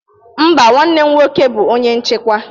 Mba, nwanne m nwoke bụ onye nchịkwa